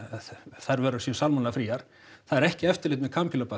þær vörur séu salmonellu fríar það er ekki eftirlit með